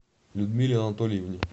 людмиле анатольевне